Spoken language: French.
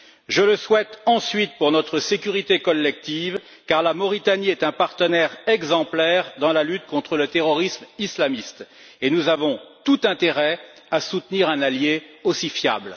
Je le souhaite, ensuite, pour notre sécurité collective, car la Mauritanie est un partenaire exemplaire dans la lutte contre le terrorisme islamiste, et nous avons tout intérêt à soutenir un allié aussi fiable.